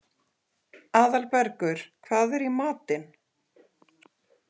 Aðalbergur, hvað er í matinn?